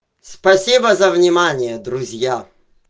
спасибо за внимание друзья